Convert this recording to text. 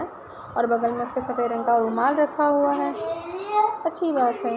और बगल में उसने सफ़ेद रंग का रुमाल रखा हुआ है अच्छी बात है।